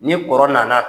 Ni kɔrɔ nana